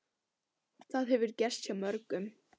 Það hefur gerst hjá mörgum.